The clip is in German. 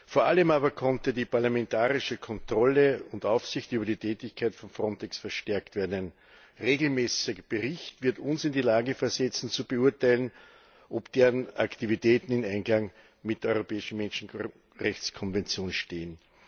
Vor allem aber konnte die parlamentarische Kontrolle und Aufsicht über die Tätigkeit von FRONTEX verstärkt werden. Ein regelmäßiger Bericht wird uns in die Lage versetzen zu beurteilen, ob deren Aktivitäten im Einklang mit der Europäischen Menschenrechtskonvention stehen.